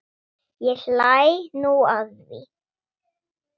Ég hlæ nú að því.